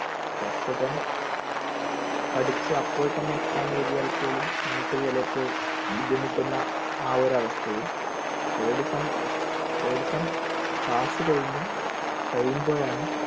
first sem പഠിച്ച്‌ അപ്പോൾ തന്നെ exam എഴുതിയാൽ പോലും നമുക് ചിലപ്പോൾ ബുദ്ധിമുട്ടുന്ന ആ ഒരു അവസ്ഥയിൽ third sem third sem class കഴിഞ്ഞ് കഴിയുമ്പോഴാണ്